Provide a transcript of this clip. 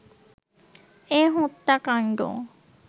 এ হত্যাকাণ্ড